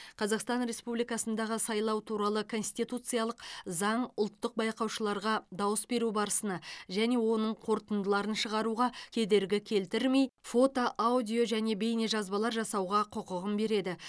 қазақстан респуюликасындағы сайлау туралы конституциялық заң ұлттық байқаушылаушыларға дауыс беру барысына және оның қорытындыларын шығаруға кедергі келтірмей фото аудио және бейнежазбалар жасауға құқығын береді